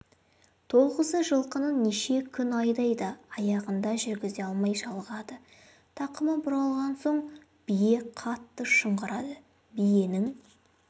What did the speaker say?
тоғызы жылқыны неше күн айдайды аяғында жүргізе алмай жалығады тақымы бұралған соң бие қатты шыңғырады биенің